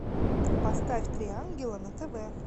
поставь три ангела на тв